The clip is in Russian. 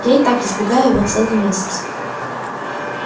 я и так избегаю его целый месяц